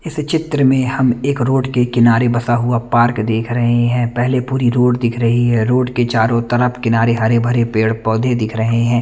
इस चित्र में हम एक रोड के किनारे बसा हुआ पार्क देख रहे हैं पहले पूरी रोड दिख रही हैं रोड के चारों तरफ हरे भरे पेड़ पोधे दिख रहे है।